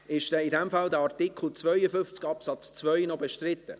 In dem Fall: Ist dieser Artikel 52 Absatz 2 noch bestritten?